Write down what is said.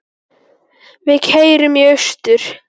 Við keyrum í austur